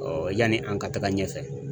yani an ka taga ɲɛfɛ.